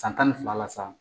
San tan ni fila la sa